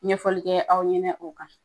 Ɲɛfɔli kɛ aw ɲɛnɛ o kan.